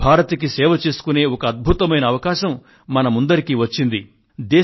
తల్లి భారతికి సేవ చేసుకునే ఒక అద్భుతమైన అవకాశం మనకు అందరికీ వచ్చింది